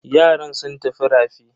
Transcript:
Yaran sun tafi rafi.